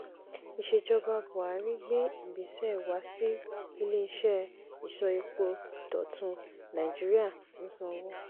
ìsèjọba buhari gbé ìgbésẹ̀ wá sí ilé-iṣẹ́ ìsọ epo dọ̀tun nàìjíríà ń sanwó.